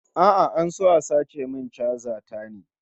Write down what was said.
A'a, an so a sace min chaja ta ne